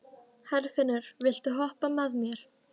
Herfinnur, viltu hoppa með mér?